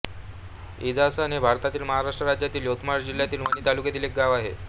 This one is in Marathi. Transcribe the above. इंजासन हे भारतातील महाराष्ट्र राज्यातील यवतमाळ जिल्ह्यातील वणी तालुक्यातील एक गाव आहे